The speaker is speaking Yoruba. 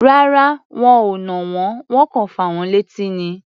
Rárá, wọn ò nà wọ́n. Wọ́n kọ̀ fà wọ́n létí ni.